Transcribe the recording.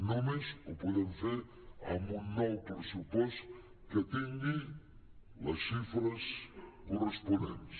només ho po·dem fer amb un nou pressupost que tingui les xifres corresponents